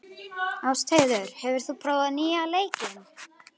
Ástheiður, hefur þú prófað nýja leikinn?